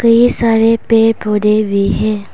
ये सारे पड़े पौधे भी है।